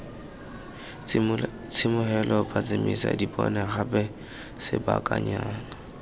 tsiboge phatsimisa dipone gape sebakanyana